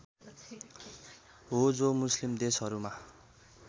हो जो मुस्लिम देशहरूमा